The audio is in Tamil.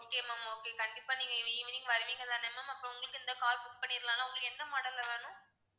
okay ma'am okay கண்டிப்பா நீங்க evening வருவீங்க தான ma'am அப்போ உங்களுக்கு இந்த car book பண்ணிறலாம்ல உங்களுக்கு எந்த model ல வேணும்